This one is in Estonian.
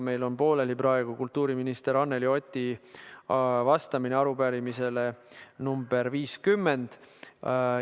Meil on pooleli praegu kultuuriminister Anneli Oti vastamine arupärimisele nr 50.